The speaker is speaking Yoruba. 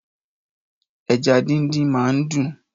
Ẹ̀já dindin mà n dún